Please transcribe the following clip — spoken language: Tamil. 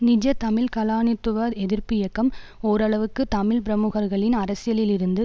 நிஜ தமிழ் கலானித்துவ எதிர்ப்பு இயக்கம் ஓரளவுக்கு தமிழ் பிரமுகர்களின் அரசியலில் இருந்து